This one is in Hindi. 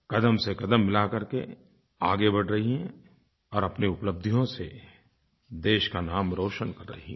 क़दम से क़दम मिला करके आगे बढ़ रही हैं और अपनी उपलब्धियों से देश का नाम रोशन कर रही हैं